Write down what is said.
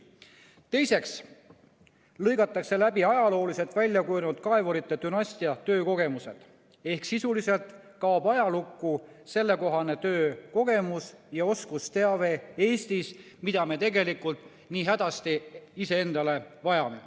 Teiseks lõigatakse läbi ajalooliselt välja kujunenud kaevurite dünastia töökogemused ehk sisuliselt kaob Eestis ajalukku sellekohane töökogemus ja oskusteave, mida me tegelikult nii hädasti vajame.